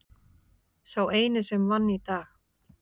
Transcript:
Sá eini sem vann í dag.